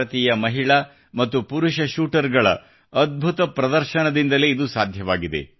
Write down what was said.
ಭಾರತೀಯ ಮಹಿಳಾ ಮತ್ತು ಪುರುಷ ಶೂಟರ್ಗಳ ಅದ್ಭುತ ಪ್ರದರ್ಶನದಿಂದಲೇ ಇದು ಸಾಧ್ಯವಾಗಿದೆ